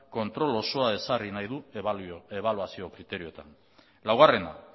kontrol osoa ezarri nahi du ebaluazio kriterioetan laugarrena